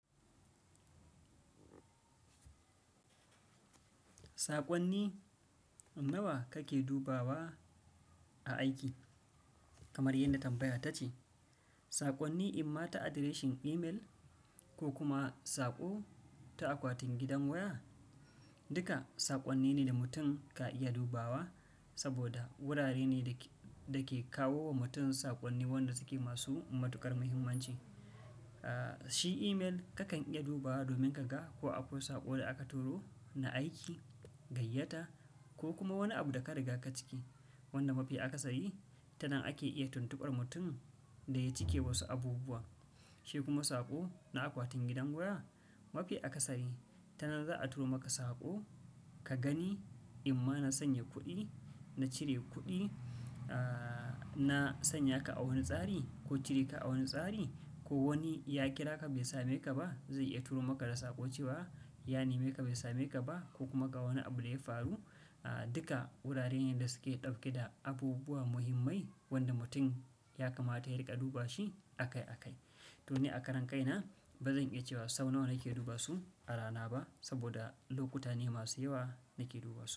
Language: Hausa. Saƙonni nawa kake dubawa a aiki? Kamar yadda tambayar ta ce, saƙonni, imma ta adireshin email ko kuma saƙo ta akwatin gidan waya, duka saƙonni ne da mutum ka iya dubawa saboda wurare ne da ke kawo wa mutum saƙonni wanda suke masu matuƙar muhimmanci. Aaa, shi email kakan iya dubawa domin ka ga ko akwai saƙo da aka turo na aiki, gayyata ko kuma wani abu da ka riga ka cike wanda mafi akasari, ta nan ake iya tuntuɓar mutum da ya cike wasu abubuwa. Shi kuma saƙo na akwatin gidan waya mafi akasari ta nan za a turo maka saƙo, ka gani imma na sanya kuɗi, na cire kuɗi, aaa, na sanya ka a wani tsari ko cire ka a wani tsari ko wani ya kira ka bai sa me ka ba zai iya turo maka da saƙo cewa, "Ya neme ka bai sa me ka ba ko kuma ga wani abu da ya faru." Aaa, duka wuraren ne da suke ɗauke da abubuwa muhimmai wanda mutum ya kamata yai riƙa duba shi a kai a kai. To ni a karan kai na ba zan iya cewa sau nawa nake duba su a rana ba saboda lokuta ne masu yawa nake duba su.